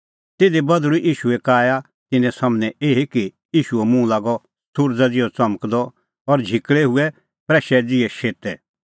तिधी बधल़ूई ईशूए काया तिन्नें सम्हनै एही कि ईशूओ मुंह लागअ सुरज़ा ज़िहअ च़मकदअ और झिकल़ै हुऐ प्रैशै ज़िहै शेतै